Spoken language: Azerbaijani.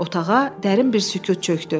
Otağa dərin bir sükut çökdü.